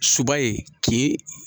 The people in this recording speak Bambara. Suba ye kin